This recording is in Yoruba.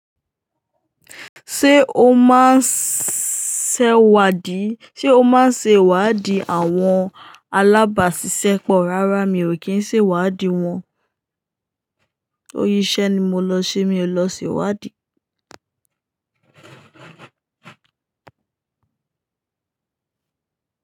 Ṣe o máa ń ṣe ìwádìí àwọn alábàáṣiṣẹ́ pọ̀? Rárá, mi ò kí ń ṣe ìwádìí wọn. Torí iṣẹ́ ni mo lọ ṣe, mi ò lọ ṣe ìwádìí.